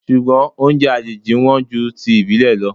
Ṣùgbọ́n oúnjẹ àjèjì wọn ju ti ìbílè lọ o.